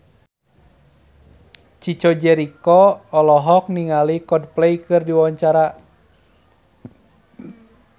Chico Jericho olohok ningali Coldplay keur diwawancara